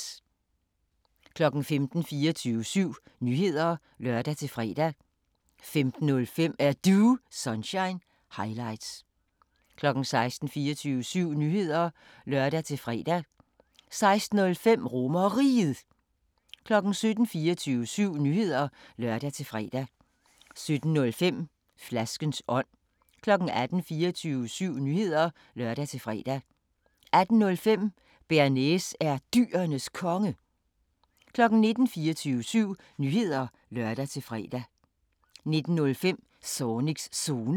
15:00: 24syv Nyheder (lør-fre) 15:05: Er Du Sunshine – highlights 16:00: 24syv Nyheder (lør-fre) 16:05: RomerRiget 17:00: 24syv Nyheder (lør-fre) 17:05: Flaskens ånd 18:00: 24syv Nyheder (lør-fre) 18:05: Bearnaise er Dyrenes Konge 19:00: 24syv Nyheder (lør-fre) 19:05: Zornigs Zone